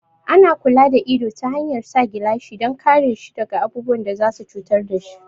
Ana kula da ido ta hanyar sa gilashi dan kare shi daga abubuwan da za su cutar dashi